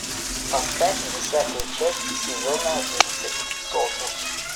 поставь десятую часть сезона одиннадцать сотус